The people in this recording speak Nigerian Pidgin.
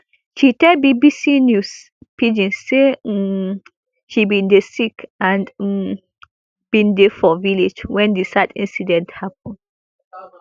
she tell bbc news pidgin say um she bin dey sick and um bin dey for village wen di sad incident happun